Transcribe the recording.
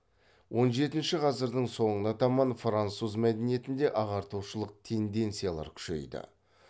он жетінші ғасырдың соңына таман француз мәдениетінде ағартушылық тенденциялар күшейді